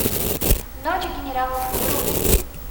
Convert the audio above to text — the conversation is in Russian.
ночь генералов вруби